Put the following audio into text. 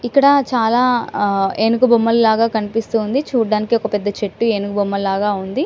ఇక్కడ చాల ఆహ్ ఏనుగు బొమ్మల్లాగా కనిపిస్తుంది చూడటానికి ఒక పెద్ద చెట్టు ఏనుగు బొమ్మ లాగ ఉంది .